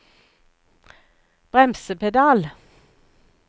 bremsepedal